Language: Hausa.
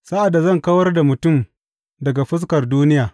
Sa’ad da zan kawar da mutum daga fuskar duniya,